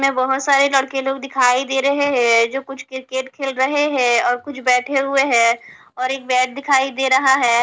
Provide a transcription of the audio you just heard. मै बहोत सारे लड़के लोग दिखाई दे रहे हैं जो कुछ क्रिकेट खेल रहे है और कुछ बैठे हुए हैं और एक बैग दिखाई दे रहा है।